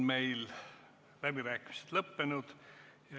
Läbirääkimised on lõppenud.